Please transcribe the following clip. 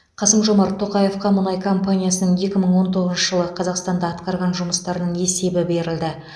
қасым жомарт тоқаевқа мұнай компаниясының екі мың он тоғызыншы жылы қазақстанда атқарған жұмыстарының есебі берілді